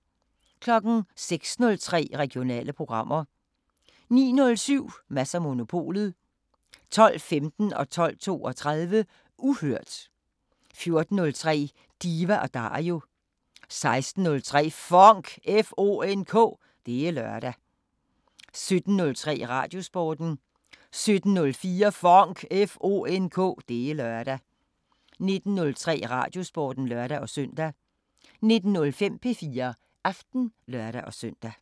06:03: Regionale programmer 09:07: Mads & Monopolet 12:15: Uhørt 12:32: Uhørt 14:03: Diva & Dario 16:03: FONK! Det er lørdag 17:03: Radiosporten 17:04: FONK! Det er lørdag 19:03: Radiosporten (lør-søn) 19:05: P4 Aften (lør-søn)